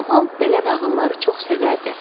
Kamal belə nağılları çox sevərdi.